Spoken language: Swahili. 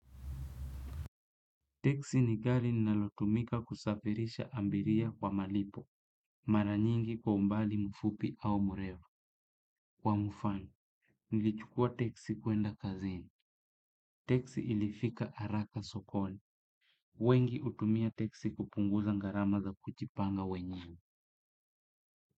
Teksi ni gari linalotumika kusafirisha abiria kwa malipo. Mara nyingi kwa umbali mfupi au mrefu. Kwa mfano, nilichukua teksi kuenda kazini. Teksi ilifika haraka sokoni. Wengi hutumia teksi kupunguza gharama za kujipanga wenyewe.